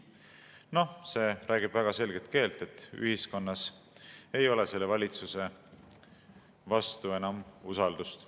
Noh, see räägib väga selget keelt, et ühiskonnas ei ole selle valitsuse vastu enam usaldust.